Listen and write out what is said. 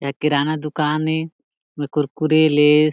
ए किराना दुकान ए इहा कुरकुरे लेस --